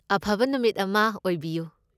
ꯑꯐꯕ ꯅꯨꯃꯤꯠ ꯑꯃ ꯑꯣꯏꯕꯤꯌꯨ!